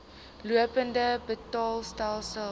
lopende betaalstelsel lbs